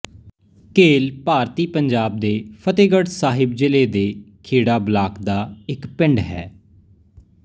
ਘੇਲ ਭਾਰਤੀ ਪੰਜਾਬ ਦੇ ਫ਼ਤਹਿਗੜ੍ਹ ਸਾਹਿਬ ਜ਼ਿਲ੍ਹੇ ਦੇ ਖੇੜਾ ਬਲਾਕ ਦਾ ਇੱਕ ਪਿੰਡ ਹੈ